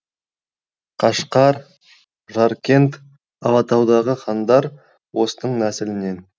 қашқар жаркент алатаудағы хандар осының нәсілінен